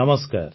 ନମସ୍କାର